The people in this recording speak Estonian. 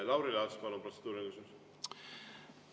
Lauri Laats, palun, protseduuriline küsimus!